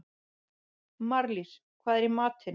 Marlís, hvað er í matinn?